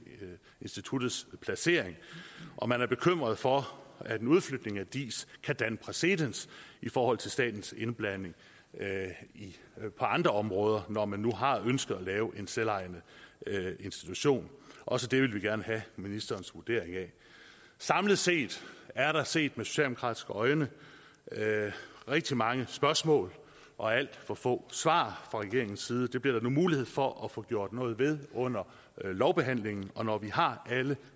instituttets placering man er bekymret for at en udflytning af diis kan danne præcedens for statens indblanding på andre områder når man nu har ønsket at lave en selvejende institution også det vil vi gerne have ministerens vurdering af samlet set er der set med socialdemokratiske øjne rigtig mange spørgsmål og alt for få svar fra regeringens side det bliver der nu mulighed for at få gjort noget ved under lovbehandlingen når vi har alle